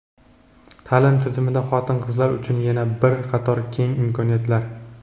Ta’lim tizimida xotin-qizlar uchun yana bir qator keng imkoniyatlar:.